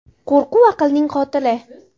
Qo‘rquv aqlning qotili.